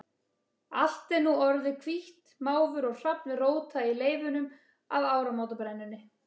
Allt er nú sem orðið hvítt, máfur og hrafn róta í leifunum af áramótabrennunni.